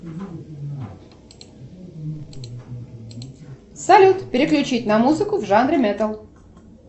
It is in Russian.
салют переключить на музыку в жанре металл